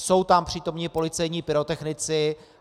Jsou tam přítomni policejní pyrotechnici.